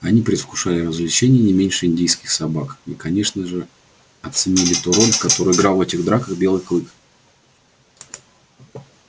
они предвкушали развлечение не меньше индейских собак и конечно с же оценили ту роль которую играл в этих драках белый клык